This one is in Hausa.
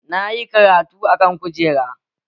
Na yi karatu a kan kujera